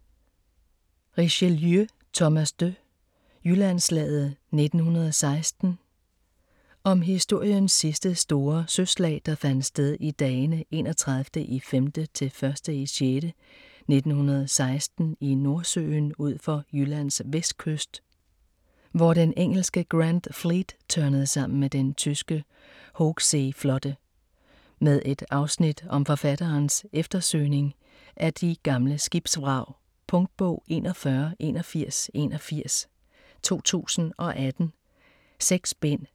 Richelieu, Thomas de: Jyllandsslaget 1916 Om historiens sidste store søslag der fandt sted i dagene 31.5.-1.6.1916 i Nordsøen ud for Jyllands vestkyst, hvor den engelske Grand Fleet tørnede sammen med den tyske Hochseeflotte. Med et afsnit om forfatterens eftersøgning af de gamle skibsvrag. Punktbog 418181 2018. 6 bind.